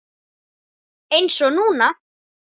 Eins og núna.